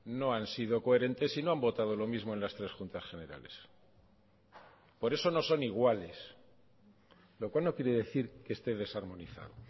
no han sido coherentes y no han votado lo mismo en las tres juntas generales por eso no son iguales lo cual no quiere decir que esté desarmonizado